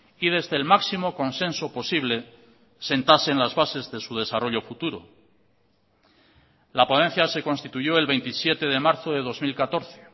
y desde el máximo consenso posible sentasen las bases de su desarrollo futuro la ponencia se constituyó el veintisiete de marzo de dos mil catorce